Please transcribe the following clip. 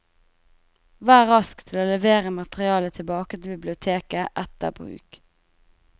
Vær rask til å levere materialet tilbake til biblioteket etter bruk.